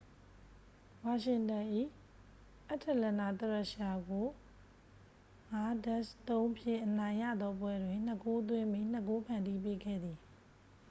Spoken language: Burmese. ဝါရှင်တန်၏ အတ္တလန်နာသရက်ရှာကို 5-3 ဖြင့် အနိုင်ရသော ပွဲတွင် 2 ဂိုးသွင်းပြီး 2 ဂိုး ဖန်တီးပေးခဲ့သည်